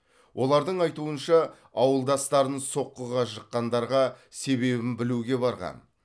олардың айтуынша ауылдастарын соққыға жыққандарға себебін білуге барған